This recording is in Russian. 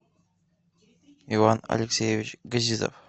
иван алексеевич газизов